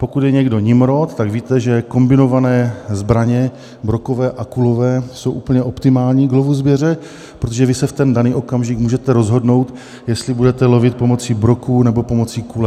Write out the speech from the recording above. Pokud je někdo nimrod, tak víte, že kombinované zbraně brokové a kulové jsou úplně optimální k lovu zvěře, protože vy se v ten daný okamžik můžete rozhodnout, jestli budete lovit pomocí broků, nebo pomocí kule.